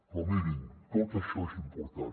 però mirin tot això és important